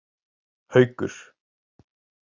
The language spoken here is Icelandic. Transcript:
Haukur